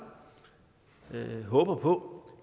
håber på